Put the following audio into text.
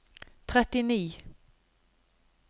trettini